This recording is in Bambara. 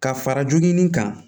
Ka fara jogin kan